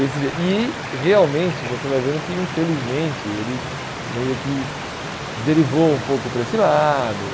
Esse e, realmente, você vai vendo que, infelizmente, ele meio que derivou um pouco para esse lado.